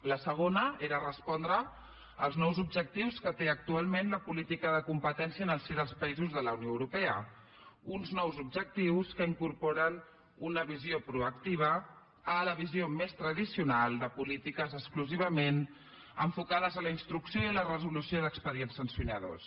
la segona era respondre als nous objectius que té actualment la política de competència en el si dels països de la unió europea uns nous objectius que incorporen una visió proactiva a la visió més tradicional de polítiques exclusivament enfocades a la instrucció i a la resolució d’expedients sancionadors